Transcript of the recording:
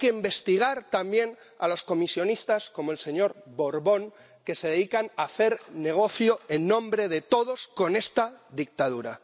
Hay que investigar también a los comisionistas, como el señor Borbón, que se dedican a hacer negocio en nombre de todos con esta dictadura.